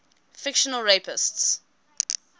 fictional rapists